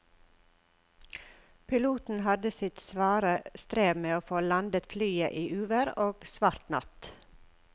Piloten hadde sitt svare strev med å få landet flyet i uvær og svart natt.